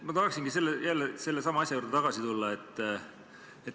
Ma tahaksingi sellesama asja juurde tagasi tulla.